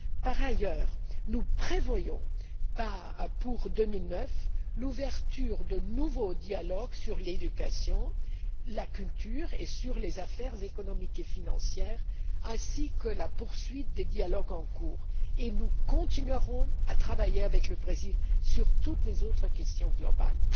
Par ailleurs, nous prévoyons, pour 2009, l'ouverture de nouveaux dialogues sur l'éducation, sur la culture et sur les affaires économiques et financières ainsi que la poursuite des dialogues en cours, et nous continuerons à travailler avec le Brésil sur toutes les autres questions globales.